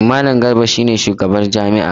Malam Garba shi ne sabon shugabar jami’ar.